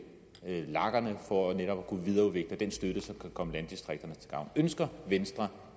lagerne for netop at kunne videreudvikle den støtte som kan komme landdistrikterne til gavn ønsker venstre